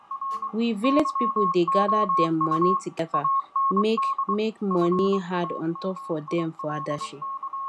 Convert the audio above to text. we village pipu da gather dem money together make make money add untop for them for adashi